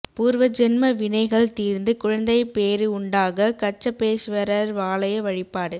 பூர்வஜென்ம வினைகள் தீர்ந்து குழந்தைப் பேறு உண்டாக கச்சபேஸ்வரர் ஆலய வழிபாடு